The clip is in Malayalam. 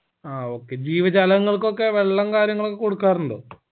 ആ okay ജീവജാലങ്ങൾക്കൊക്കെ വെള്ളം കാര്യങ്ങളും ഒക്കെ കൊടുക്കാറുണ്ടോ